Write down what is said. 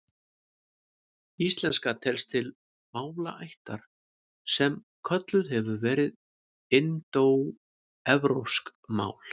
Íslenska telst til málaættar sem kölluð hefur verið indóevrópsk mál.